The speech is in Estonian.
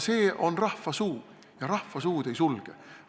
See on rahva suu ja rahva suud ei sulge!